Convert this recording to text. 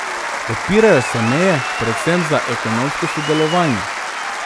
Odpirajo se meje, predvsem za ekonomsko sodelovanje.